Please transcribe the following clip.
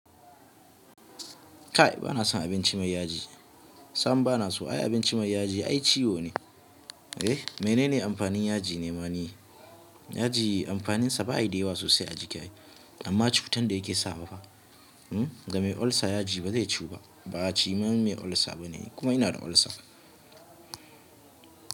Kai bana son abinci mai yaji. Sam bana so ai abinci mai yaji ai ciwo ne. Eh menene amfanin yaji ne ma ni? Yaji amfaninsa baya dayawa sosai a jikai ai amma cutan da yake sawa uhm Ga mai ulcer yaji ba zai ciyuba Ba cimar mai ulcer bane kuma ina da ulcer.